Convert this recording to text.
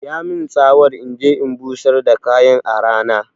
Ya min tsawar inje in busar da kayan a rana